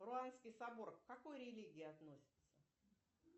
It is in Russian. руанский собор к какой религии относится